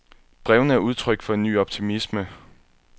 Brevene er udtryk for en ny optimisme.